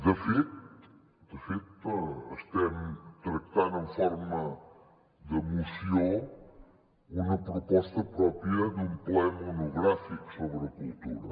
de fet de fet estem tractant en forma de moció una proposta pròpia d’un ple monogràfic sobre cultura